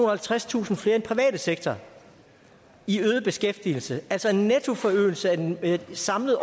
og halvtredstusind flere i den private sektor i øget beskæftigelse altså en nettoforøgelse samlet